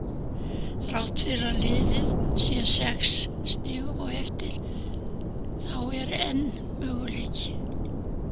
Þrátt fyrir að liðið sé sex stigum á eftir þá er enn möguleiki.